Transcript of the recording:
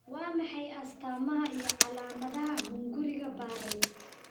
Waa maxay astamaha iyo calaamadaha hunguriga Barrett?